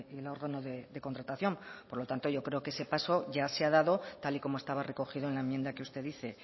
el órgano de contratación por lo tanto yo creo que ese paso ya se ha dado tal y como estaba recogido en la enmienda que usted dice